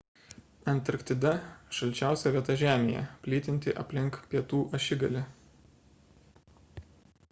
antarktida – šalčiausia vieta žemėje plytinti aplink pietų ašigalį